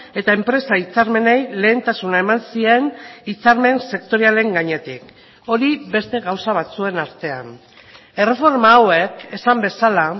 eta enpresa hitzarmenei lehentasuna eman zien hitzarmen sektorialen gainetik hori beste gauza batzuen artean erreforma hauek esan bezala